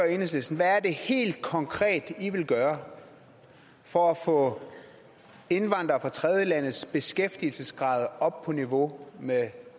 enhedslisten hvad er det helt konkret i vil gøre for at få indvandrere fra tredjelandes beskæftigelsesgrad op på niveau med